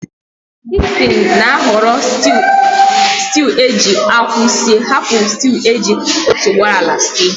Dickson na ahọrọ sịtịụ eji akwụ sie hapụ sịtịụ eji otuboala sie